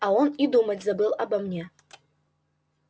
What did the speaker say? а он и думать забыл обо мне